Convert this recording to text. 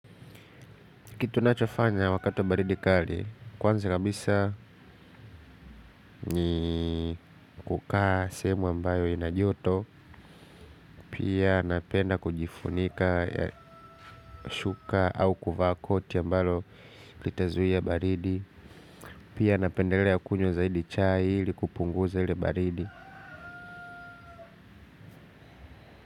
Kitu nachofanya wakati wa baridi kali, kwanza kabisa ni kukaa sehemu ambayo ina joto, pia napenda kujifunika, shuka au kuvaa koti ambalo litazuia baridi, pia napendelea kunywa zaidi chai ili kupunguza ile baridi.